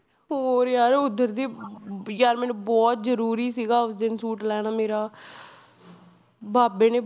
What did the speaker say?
ਹੋਰ ਯਾਰ ਉਧਰ ਦੀ ਵੀ ਯਾਰ ਮੈਨੂੰ ਬਹੁਤ ਜ਼ਰੂਰੀ ਸੀਗਾ ਉਸ ਦਿਨ ਸੂਟ ਲੈਣਾ ਮੇਰਾ ਬਾਬੇ ਨੇ